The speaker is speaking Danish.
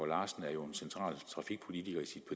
larsen er jo en central trafikpolitiker i